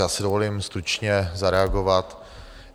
Já si dovolím stručně zareagovat.